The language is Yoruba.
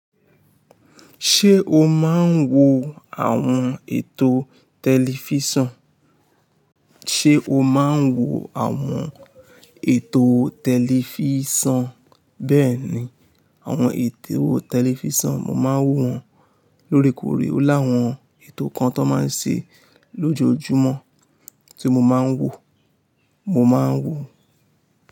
Ṣé o máa ń wo àwọn ètò tẹlifísàn? Ṣé o máa ń wo àwọn ètò tẹlifísàn? Bẹ́ẹ̀ni, àwọn ètò tẹlifísàn, mo máa ń wo wọn lóòrèkóòrè. Ó láwọn ètò kan tó máa ń ṣe lójoojúmọ́ tí mo máa ń wo, mo máa ń wo.